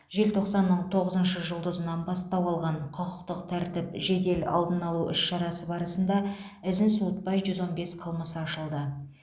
желтоқсанның тоғызыншы жұлдызынан бастау алған құқықтық тәртіп жедел алдын алу іс шарасы барысында ізін суытпай жүз он бес қылмыс ашылды